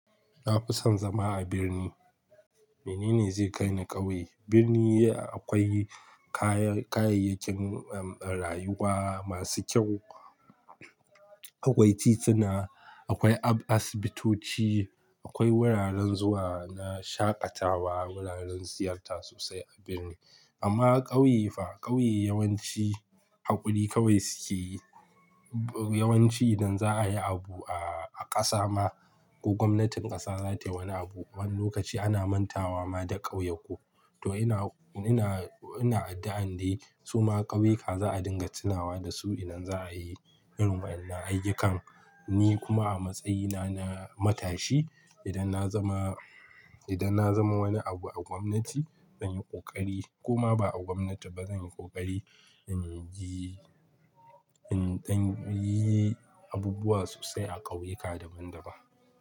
Na fi son zama a birni. Mene ne zai kai ni ƙauye? Birni akwai kayayyakin rayuwa masu kyau, akwai tituna, akwai asibitoci, akwai wuraren zuwa na shaƙatawa, wuraren ziyarta sosai a birni. Amma ƙauye fa, ƙauye yawanci haƙuri kawai suke yi. Yawanci idan za a yi abu a ƙasa ma ko gwamnatin ƙasa za ta yi wani abu, wani lokaci ana mantawa ma da ƙauyuka. To ina, ina, ina addu'a dai su ma ƙauyuka za a dinga tunawa da su idan za a yi irin waɗannan ayyukan. Ni kuma a matsayina na matashi, idan na zama, idan na zama wani abu a gwamnati zan yi ƙoƙari kuma ba a gwamnati ba zan yi ƙoƙari in yi, in ɗan yi abubuwa sosai a ƙauyuka da ban da ban.